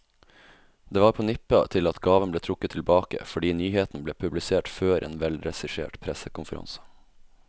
Det var på nippet til at gaven ble trukket tilbake, fordi nyheten ble publisert før en velregissert pressekonferanse.